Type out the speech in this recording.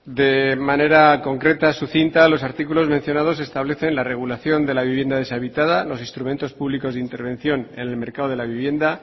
de manera concreta sucinta los artículos mencionados establecen la regulación de la vivienda deshabitada los instrumentos públicos de intervención en el mercado de la vivienda